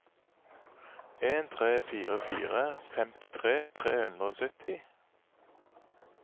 en tre fire fire femtitre tre hundre og sytti